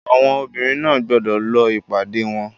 Àwọn obìnrin náà gbọ́dọ̀ lọ ìpàdé wọn.